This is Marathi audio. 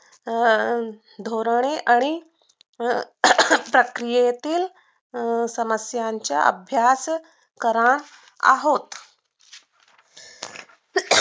अं धोरणे आणि अं प्रक्रियेतील अं समस्यांचा अभ्यास करणार आहोत